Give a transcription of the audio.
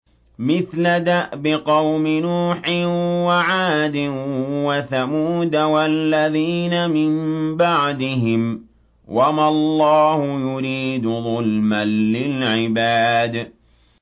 مِثْلَ دَأْبِ قَوْمِ نُوحٍ وَعَادٍ وَثَمُودَ وَالَّذِينَ مِن بَعْدِهِمْ ۚ وَمَا اللَّهُ يُرِيدُ ظُلْمًا لِّلْعِبَادِ